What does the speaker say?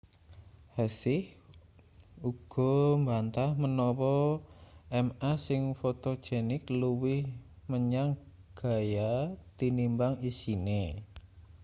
hsieh uga mbantah menawa ma sing fotogenik luwih menyang gaya tinimbang isine